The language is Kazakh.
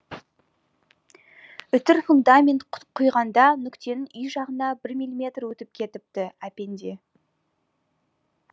үтір фундамент құйғанда нүктенің үй жағына бір мм өтіп кетіпті әпенде